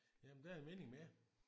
Jamen det er mening med det